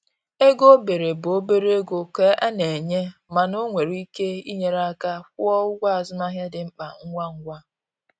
Ego obere bụ obere ego ka e na-enye, mana o nwere ike inyere aka kwụọ ụgwọ azụmahịa dị mkpa ngwa ngwa.